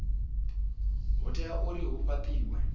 ha tea uri hu fhatiwe